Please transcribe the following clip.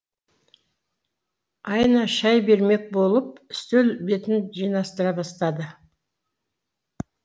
айна шай бермек болып үстел бетін жинастыра бастады